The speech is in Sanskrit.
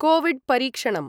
कोविड् परीक्षणम्